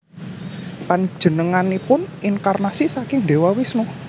Panjenenganipun inkarnasi saking Dewa Wisnu